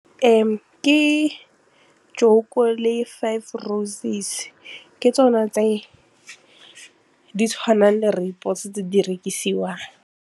Ke JOKO le Five Roses ke tsona tse di tshwanang le rooibos tse di rekisiwang.